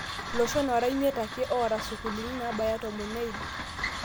Illoshon oora miet ake () oota sukuulini nabaya tomon neiid.